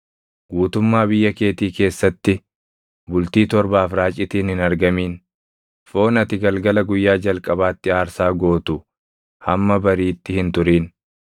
Guutummaa biyya keetii keessatti bultii torbaaf raacitiin hin argamin. Foon ati galgala guyyaa jalqabaatti aarsaa gootu hamma bariitti hin turin.